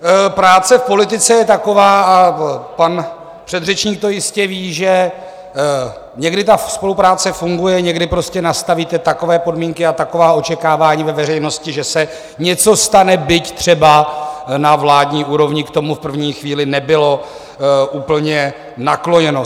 Práce v politice je taková a pan předřečník to jistě ví, že někdy ta spolupráce funguje, někdy prostě nastavíte takové podmínky a taková očekávání ve veřejnosti, že se něco stane, byť třeba na vládní úrovni k tomu v první chvíli nebylo úplně nakloněno.